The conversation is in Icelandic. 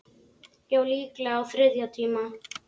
Já, líklega á þriðja tíma.